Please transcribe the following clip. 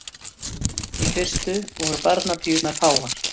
Í fyrstu voru barnapíurnar fáar.